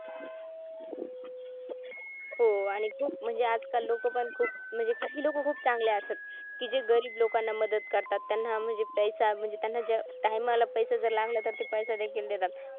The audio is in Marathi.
हो आणि खूप म्हणजे आजकाल लोक पण खूप म्हणजे काही लोक खूप चांगले असतात कि जे गरीब लोकांना मदत करतात त्यांना म्हणजे पैसा म्हणजे time ला पैसा लागला तर ते पैसा देखील देतात